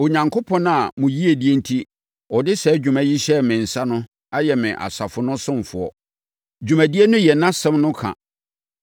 Onyankopɔn a mo yiedie enti, ɔde saa dwuma yi hyɛɛ me nsa no ayɛ me asafo no ɔsomfoɔ. Dwumadie no yɛ nʼasɛm no ka,